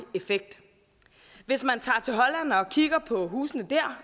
effekt hvis man tager til holland og kigger på husene der